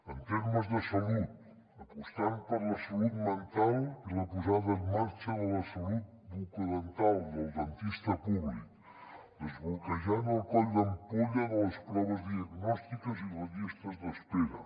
en termes de salut apostant per la salut mental i la posada en marxa de la salut bucodental del dentista públic desbloquejant el coll d’ampolla de les proves diagnòstiques i les llistes d’espera